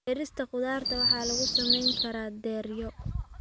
Beerista khudaarta waxaa lagu samayn karaa dheryo.